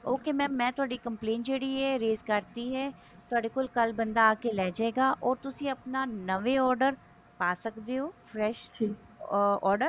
okay mam ਮੈਂ ਤੁਹਾਡੀ complaint ਜਿਹੜੀ ਹੈ raise ਕਰਤੀ ਹੈ ਥੋਡੇ ਕੋਲ ਕੱਲ ਬੰਦਾ ਆ ਕੇ ਲੇਜੇਗਾ or ਤੁਸੀਂ ਆਪਣਾ ਨਵੇਂ order ਪਾ ਸਕਦੇ ਹੋ fresh order